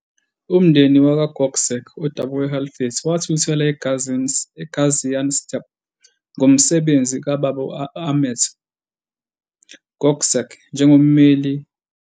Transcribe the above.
Umndeni wakwaGökçek, odabuka eHalfeti, wathuthela eGaziantep ngomsebenzi kababa u-Ahmet Gökçek njengommeli.